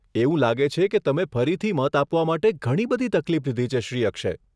એવું લાગે છે કે તમે ફરીથી મત આપવા માટે ઘણી બધી તકલીફ લીધી છે, શ્રી અક્ષય.